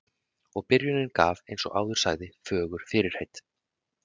Og byrjunin gaf, eins og áður sagði, fögur fyrirheit.